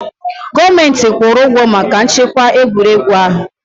Gọọmenti kwụrụ ụgwọ maka nchekwa egwuregwu ahụ.